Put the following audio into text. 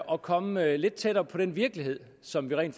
og komme lidt tættere på den virkelighed som vi rent